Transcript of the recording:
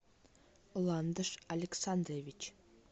ландыш александрович